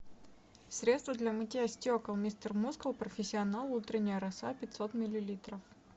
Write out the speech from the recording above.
средство для мытья стекол мистер мускул профессионал утренняя роса пятьсот миллилитров